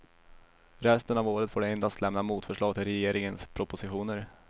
Resten av året får de endast lämna motförslag till regeringens propositioner.